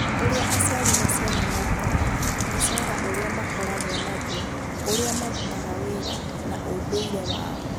Ũrĩa aciari na ciana maikaraga, mũcara ũrĩa makoragwo naguo, ũrĩa marutaga wĩra, na ũndũire wao.